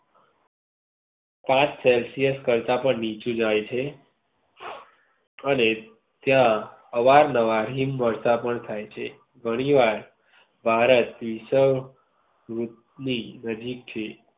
પાંચ celsius કરતા પણ નીચું જાય છે. અને ત્યાં અવારનવાર હિમ વર્ષા પણ થાય છે. ઘણી વાર ભારત થી